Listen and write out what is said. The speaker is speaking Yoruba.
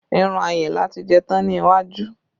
Irun Ayinla ti jẹ tán ní iwájú